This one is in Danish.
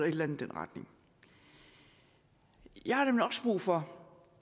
i den retning jeg har nemlig også brug for